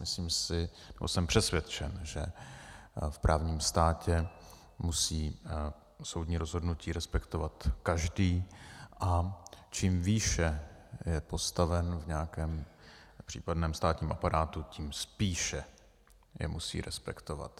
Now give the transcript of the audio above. Myslím si, nebo jsem přesvědčen, že v právním státě musí soudní rozhodnutí respektovat každý, a čím výše je postaven v nějakém případném státním aparátu, tím spíše je musí respektovat.